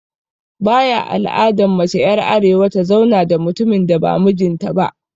Baya al'adan mace er arewa ta zauna da mutumin da ba mijin ta ba.